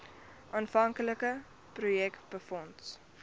aanvanklike projek befonds